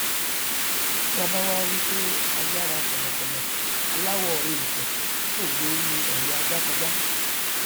tí a bá wí pé ayára kọlọkọlọ aláwọ èèpẹ fò gborí ọlẹ ajá kọjá